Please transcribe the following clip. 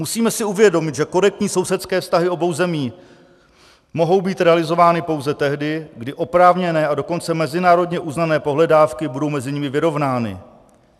Musíme si uvědomit, že korektní sousedské vztahy obou zemí mohou být realizovány pouze tehdy, kdy oprávněné a dokonce mezinárodně uznané pohledávky budou mezi nimi vyrovnány.